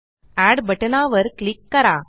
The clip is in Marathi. एड बटनावर क्लिक करा